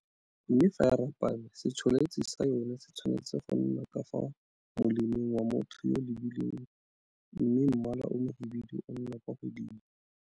Mme fa e rapame, se tsholetsi sa yona se tshwane tse go nna ka fa molemeng wa motho yo o e lebileng mme mmala o mohibidu o nna kwa godimo.